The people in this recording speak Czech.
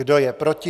Kdo je proti?